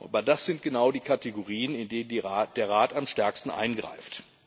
Aber das sind genau die Kategorien, in denen der Rat am stärksten eingreift.